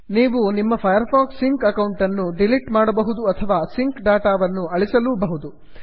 ನೀವು ನಿಮ್ಮ Firefox sync ಅಕೌಂಟನ್ನು ಡಿಲಿಟ್ ಮಾಡಬಹುದು ಅಥವಾ ಸಿಂಕ್ ಡಾಟಾವನ್ನು ಅಳಿಸಲೂಬಹುದು